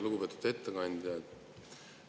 Lugupeetud ettekandja!